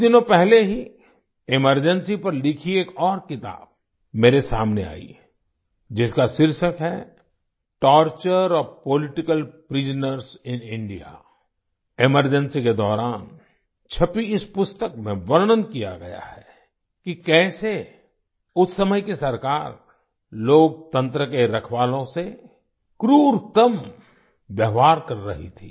कुछ दिनों पहले ही एमरजेंसी पर लिखी एक और किताब मेरे सामने आई जिसका शीर्षक है torture of political prisoners in India emergency के दौरान छपी इस पुस्तक में वर्णन किया गया है कि कैसे उस समय की सरकार लोकतंत्र के रखवालों से क्रूरतम व्यवहार कर रही थी